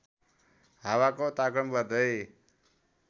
हावाको तापक्रम बढ्दै